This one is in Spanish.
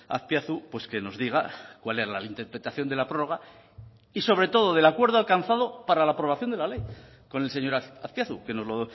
azpiazu pues que nos diga cuál es la interpretación de la prórroga y sobre todo del acuerdo alcanzado para la aprobación de la ley con el señor azpiazu que nos lo